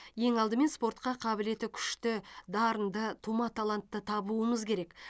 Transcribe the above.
ең алдымен спортқа қабілеті күшті дарынды тума талантты табуымыз керек